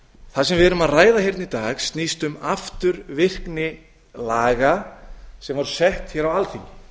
við erum að ræða í dag snýst um afturvirkni laga sem voru sett á alþingi